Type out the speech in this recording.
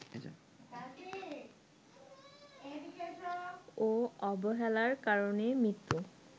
ও অবহেলার কারণে মৃত্যুর